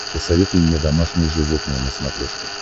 посоветуй мне домашние животные на смотрешке